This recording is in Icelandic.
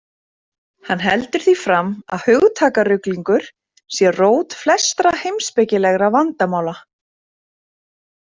Hann heldur því fram að hugtakaruglingur sé rót flestra heimspekilegra vandamála.